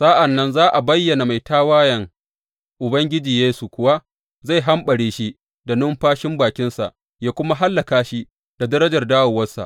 Sa’an nan za a bayyana mai tawayen, Ubangiji Yesu kuwa zai hamɓare shi da numfashin bakinsa yă kuma hallaka shi da darajar dawowarsa.